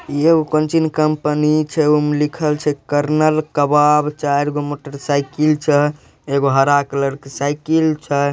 ऐ उगम चीन कंपनी छे ओमे लिखल छे कर्नल कबाब चारगो मोटरसाइकिल छे एगो हरा कलर के साईकिल छे।